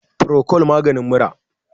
furocol namagin mura